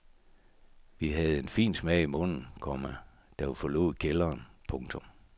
Vi havde en fin smag i munden, komma da vi forlod kælderen. punktum